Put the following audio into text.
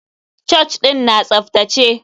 Church ɗin na tsaftace.